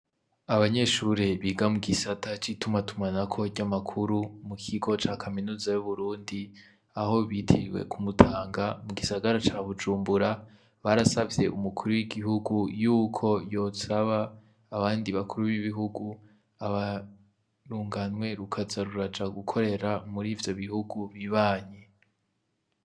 Abanyeshure biga mugisata c'itumatumanako ry'amakuru, mukigo ca kaminuza y'Uburundi aho bitiriye ku Mutanga mu gisagara ca Bujumbura, barasavye umukuru w'igihugu y'uko yosaba abandi bakuru b'ibihugu, urunganwe rukaza ruraja gukorera muri ivyo bihugu bibanyi.